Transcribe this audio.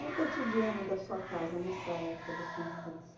E o cotidiano da sua casa nessa época da sua infância?